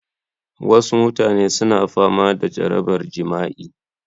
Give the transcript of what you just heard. Wasu mutane suna fama da jarabar jima'i